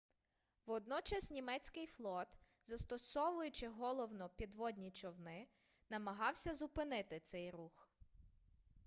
водночас німецький флот застосовуючи головно підводні човни намагався зупинити цей рух